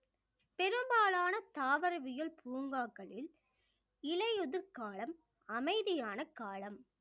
பெரும்பாலான தாவரவியல் பூங்காக்களில் இலையுதிர் காலம் அமைதியான காலம்